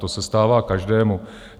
To se stává každému.